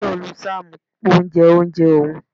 Tayo lu Sam pé ó jẹ oúnjẹ òun.